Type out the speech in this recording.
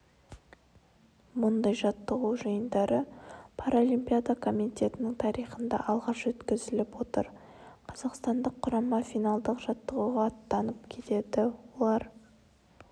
мұндай жаттығу жиындары паралимпиада комитетінің тарихында алғаш өткізіліп отыр қазақстандық құрама финалдық жаттығуға аттанып кетті олар